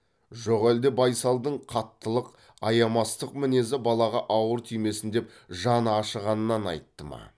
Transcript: жоқ әлде байсалдың қаттылық аямастық мінезі балаға ауыр тимесін деп жаны ашығаннан айтты ма